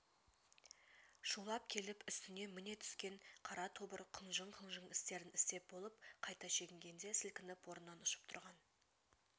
шулап келіп үстіне міне түскен қара тобыр құнжың-құнжың істерін істеп болып қайта шегінгенде сілкініп орнынан ұшып тұрған